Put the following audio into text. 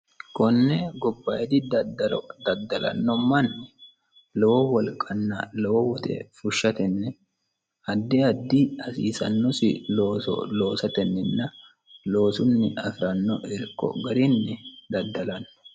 konne gobayidi daddalo daddalanno manni lowo wolqanna lowo woxe fushshatenni addi addi hasiisannosi looso loosatenninna loosunni afi'ranno irko garinni daddalanno